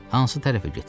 Hansı tərəfə getsin?